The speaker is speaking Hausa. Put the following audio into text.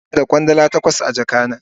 Ina da Kwandala takwas a jaka na.